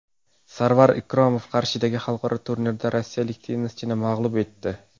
Sarvar Ikromov Qarshidagi xalqaro turnirda rossiyalik tennischini mag‘lub etdi.